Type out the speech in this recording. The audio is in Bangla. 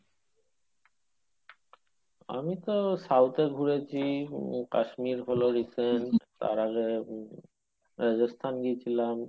আমি তো south এ ঘুরেছি , উম কাশ্মীর তার আগে উহ রাজস্থান গিয়েছিলাম।